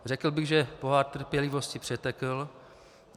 Řekl bych, že pohár trpělivosti přetekl.